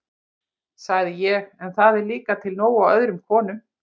sagði ég, en það er líka til nóg af öðrum konum